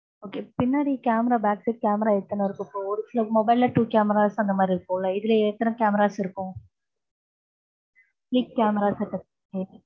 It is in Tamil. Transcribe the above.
okay பின்னாடி camera, backside, camera எத்தன இருக்கும் இப்போ? ஒரு சில mobile ல two cameras அந்த மாதிரி இருக்கும்ல, இதுல எத்தன cameras இருக்கும்? three cameras இருக்கு.